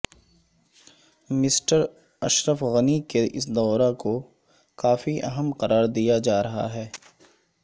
mister Ashraf Ghani کے اس دورہ کوکافی اہم قرار دیاجارہاہے